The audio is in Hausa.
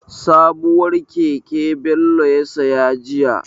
Sabuwar keke Bello ya saya jiya.